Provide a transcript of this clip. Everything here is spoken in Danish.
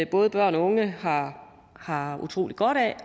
både børn og unge har har utrolig godt af